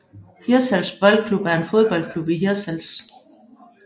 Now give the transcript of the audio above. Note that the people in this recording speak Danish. Hirtshals Boldklub er en fodboldklub i Hirtshals